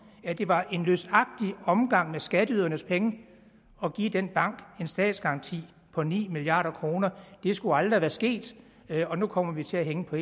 at det var en løsagtig omgang med skatteydernes penge at give den bank en statsgaranti på ni milliard kroner det skulle aldrig have været sket og nu kommer vi til at hænge på